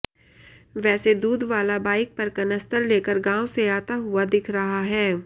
वैसे दूधवाला बाइक पर कनस्तर लेकर गांव से आता हुआ दिख रहा है